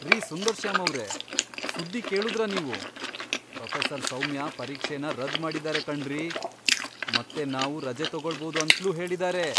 ರೀ ಸುಂದರ್ಶ್ಯಾಮ್ ಅವ್ರೇ, ಸುದ್ದಿ ಕೇಳುದ್ರಾ ನೀವು? ಪ್ರೊಫೆಸರ್ ಸೌಮ್ಯ ಪರೀಕ್ಷೆನ ರದ್ದ್ ಮಾಡಿದಾರೆ ಕಣ್ರೀ.. ಮತ್ತೆ ನಾವು ರಜೆ ತಗೊಳ್ಬೋದು ಅಂತ್ಲೂ ಹೇಳಿದಾರೆ!